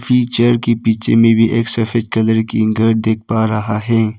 ये चेयर के पीछे मे भी एक सफेद कलर के घर दिख पा रहा है।